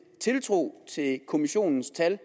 tiltro til kommissionens tal